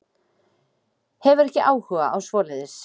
Hefur ekki áhuga á svoleiðis.